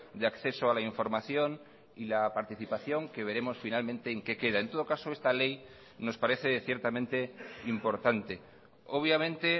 de acceso a la información y la participación que veremos finalmente en qué queda en todo caso esta ley nos parece ciertamente importante obviamente